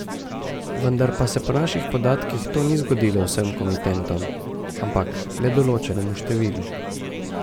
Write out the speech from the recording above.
Vendar pa se po naših podatkih to ni zgodilo vsem komitentom, ampak le določenemu številu.